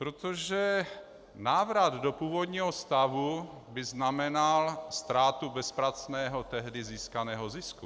Protože návrat do původního stavu by znamenal ztrátu bezpracného tehdy získaného zisku.